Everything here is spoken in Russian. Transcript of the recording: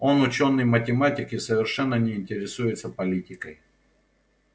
он учёный математик и совершенно не интересуется политикой